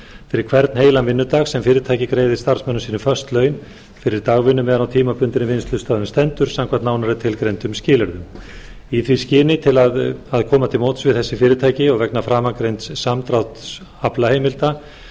fyrir hvern heilan vinnudag sem fyrirtæki greiðir starfsmönnum sínum föst laun fyrir dagvinnu meðan á tímabundinni vinnslustöðvun stendur samkvæmt nánar tilgreindum skilyrðum í því skyni að koma til móts við þessi fyrirtæki vegna framangreinds samdráttar aflaheimilda